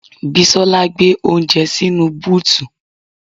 Bisola gbé oúnjẹ sínú búùtù